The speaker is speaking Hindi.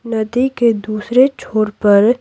नदी के दूसरे छोड़ पर --